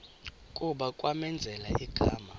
kuba kwamenzela igama